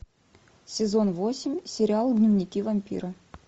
сезон восемь сериал дневники вампира